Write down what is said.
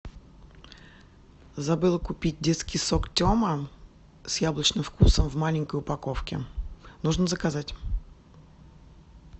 забыла купить детский сок тема с яблочным вкусом в маленькой упаковке нужно заказать